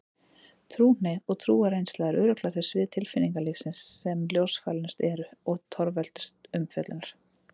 Trúhneigð og trúarreynsla eru örugglega þau svið tilfinningalífsins sem ljósfælnust eru og torveldust umfjöllunar.